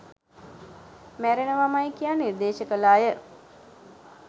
මැරෙනවමයි කියා නිර්දේශ කල අය